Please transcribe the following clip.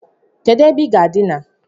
Kedu ebe I ga-adina?